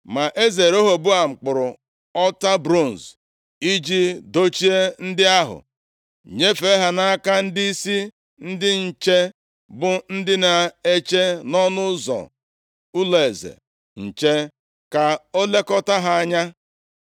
Ma eze Rehoboam kpụrụ ọta bronz i ji dochie ndị ahụ, nyefee ha nʼaka ndịisi ndị nche, bụ ndị na-eche nʼọnụ ụzọ ụlọeze nche ka a lekọta ha anya.